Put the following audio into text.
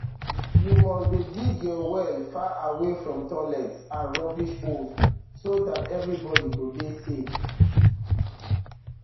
you must dey dig your well far away from toilets and rubbish holes so dat everybody go dey safe